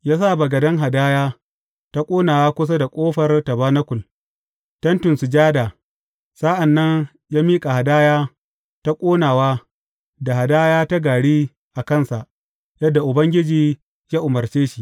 Ya sa bagaden hadaya ta ƙonawa kusa da ƙofar tabanakul, Tentin Sujada, sa’an nan ya miƙa hadaya ta ƙonawa da hadaya ta gari a kansa, yadda Ubangiji ya umarce shi.